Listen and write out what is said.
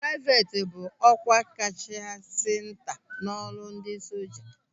Praivet bụ ọkwa kachasị nta n'ọrụ ndị soja.